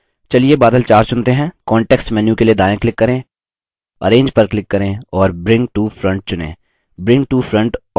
चलिए बादल 4 चुनते हैं context menu के लिए दायाँ click करें arrange पर click करें और bring to front चुनें